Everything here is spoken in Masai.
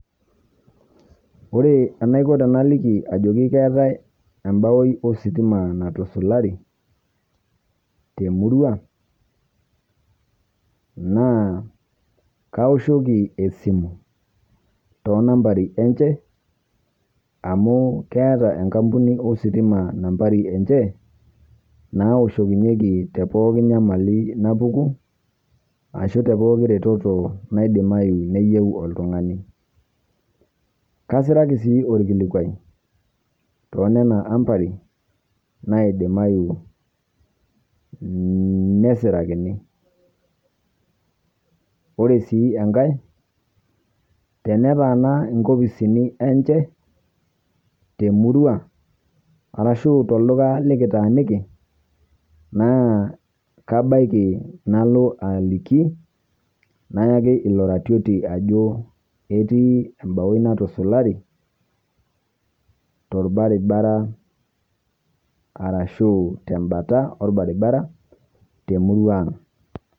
Ore anaikoo tanaliki ajokii keetai ebao ositima naitusulari te murru, naa kaosheki esimu to nambarini enchee amu keeta enkampuni ositima nambarii enchee, naoshoyieki to pooki nyamalii napokuu ashoo te pooki retetoo naidimaiyu neiyeeu oltung'ani. Kasiraki sii olkilikwai to nena ambarii naidimayu nesirakini. Ore sii enkaai tene taana nkofisini enchee te murrua arashu to ldukaa nikitaaniki, naa kabaaki naloo aliiki nayaaki elo raitotia ajoo etii embaoi natusulari to lbarabara arashu te mbaata e lbaribara te murrua ang'.